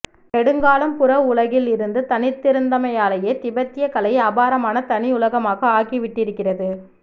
நெடுங்காலம் புற உலகில் இருந்து தனித்திருந்தமையாலேயே திபெத்திய கலை அபாரமான தனியுலகமாக ஆகிவிட்டிருக்கிறது